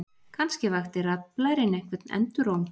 Kannske vakti raddblærinn einhvern enduróm.